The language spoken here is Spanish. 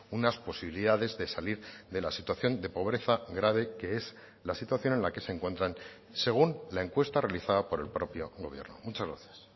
unas posibilidades de salir de la situación de pobreza grave que es la situación en la que se encuentran según la encuesta realizada por el propio gobierno muchas gracias